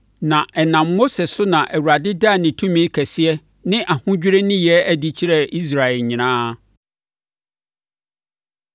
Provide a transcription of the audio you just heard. Na ɛnam Mose so na Awurade daa ne tumi kɛseɛ ne ahodwirie nneyɛɛ adi kyerɛɛ Israel nyinaa.